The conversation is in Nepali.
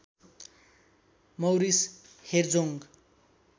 Morris Herzog